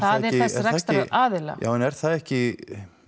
þess rekstaraðila já en er það ekki